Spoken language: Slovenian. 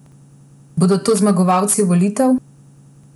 Bodo to zmagovalci volitev?